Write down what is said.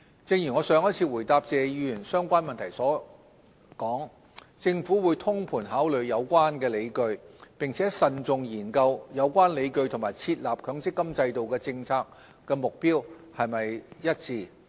正如我上一次回答謝議員相關問題時所說，政府會通盤考慮有關理據，並慎重研究有關理據與設立強積金制度的政策目標是否一致。